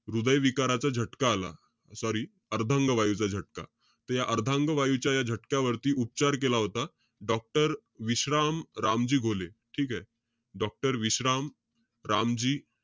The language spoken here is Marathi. हृदयविकाराचा झटका आला. Sorry अर्धांगवायूचा झटका. त या अर्धांगवायूच्या या झटक्यावरती उपचार केला होता. doctor विश्राम रामजी घोले. ठीकेय? doctor विश्राम रामजी,